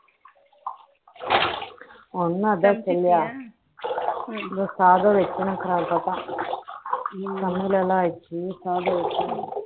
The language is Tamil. சமைச்சிட்டியா சாதம் வைக்கணும் சமையல் எல்லாம் ஆயிடுச்சு சாதம் வைக்கணும்